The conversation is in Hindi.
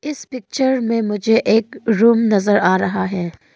इस पिक्चर में मुझे एक रूम नजर आ रहा है।